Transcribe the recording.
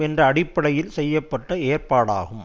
என்ற அடிப்படையில் செய்ய பட்ட ஏற்பாடாகும்